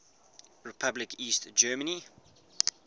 republic east germany